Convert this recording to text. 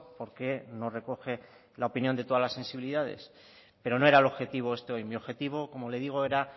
porque no recoge la opinión de todas las sensibilidades pero no era el objetivo este hoy mi objetivo como le digo era